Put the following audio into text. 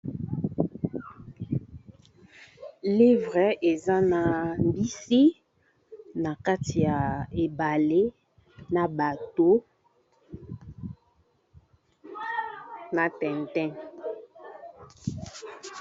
Livre eza na mbisi na kati ya ebale na bato na tinta.